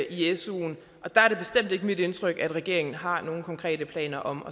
i suen og der er det bestemt ikke mit indtryk at regeringen har nogen konkrete planer om